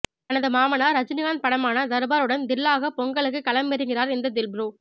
தனது மாமனார் ரஜினிகாந்த் படமான தர்பாருடன் தில்லாக பொங்கலுக்கு களமிறங்குகிறார் இந்த தில் ப்ரோ